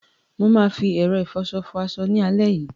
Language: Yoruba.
Mà á fi ẹ̀rọ ìfọṣọ fọ aṣọ mi lálẹ́ yìí.